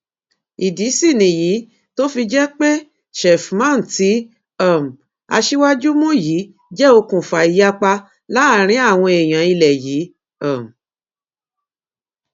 ìdí sì nìyí tó fi jẹ pé sheffman tí um aṣíwájú mú yìí jẹ okùnfà ìyapa láàrin àwọn èèyàn ilẹ yìí um